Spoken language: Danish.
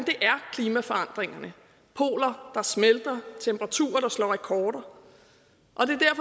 klimaforandringerne poler der smelter temperaturer der slår rekorder